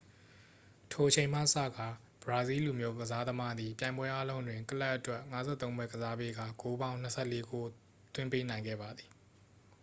ထိုအချိန်မှစကာ ဘရာဇီးလူမျိုးကစားသမားသည် ပြိုင်ပွဲအားလုံးတွင် ကလပ်အတွက် 53 ပွဲကစားပေးကာ ဂိုးပေါင်း 24 ဂိုး သွင်းပေးနိုင်ခဲ့ပါသည်